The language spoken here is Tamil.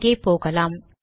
அங்கே போகலாம்